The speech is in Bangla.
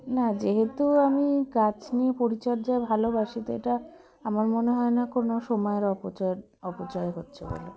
না যেহেতু আমি গাছ নিয়ে পরিচর্যা ভালোবাসি তো এটা আমার মনে হয়না কোনো সময়ের অপচয় অপচয় হচ্ছে বলে